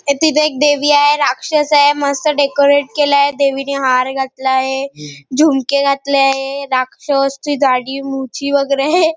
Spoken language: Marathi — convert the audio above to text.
तिथे एक देवी आहे राक्षस आहे मस्त डेकोरेट केलेल आहे देविणी हार घातला आहे जुमके घातले आहे राक्षस ची दाढी मुछी वैगेरे आहे.